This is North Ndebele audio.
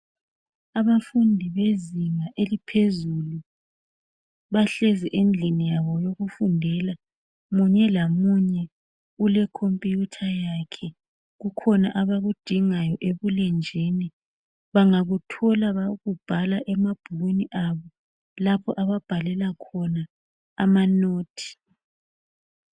Abafundi bezinga eliphezulu bahlezi endlini yabo yokufundela munye lamunye ulekhomputha yakhe. Kukhona abakudingayo ebulenjini bangakuthola bayakubhala emabhukwini abo lapho ababhalela khona amanothi.